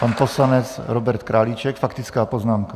Pan poslanec Robert Králíček, faktická poznámka.